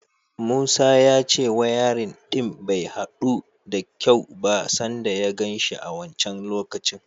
Musa ya ce wayarin ɗin bai haɗu da kyau ba sanda ya gan shi a wancan lokacin.